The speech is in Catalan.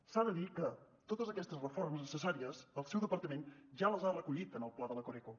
s’ha de dir que totes aquestes reformes necessàries el seu departament ja les ha recollit en el pla de la coreco